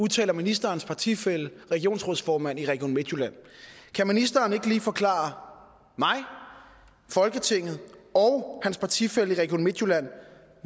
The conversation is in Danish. udtaler ministerens partifælle regionsrådsformand i region midtjylland kan ministeren ikke lige forklare mig folketinget og hans partifælle i region midtjylland